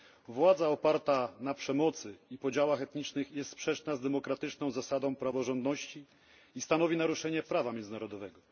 Władza oparta na przemocy i podziałach etnicznych jest sprzeczna z demokratyczną zasadą praworządności i stanowi naruszenie prawa międzynarodowego.